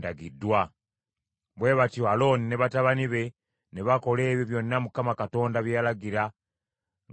Bwe batyo Alooni ne batabani be ne bakola ebyo byonna Mukama Katonda bye yalagira ng’abiyisa mu Musa.